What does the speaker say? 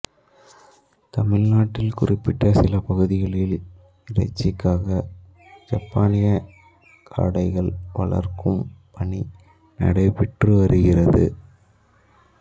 தமிழ்நாட்டில் குறிப்பிட்ட சில பகுதிகளில் இறைச்சிக்காக ஜப்பானியக் காடைகள் வளர்க்கும் பணி நடைபெற்று வருகிறது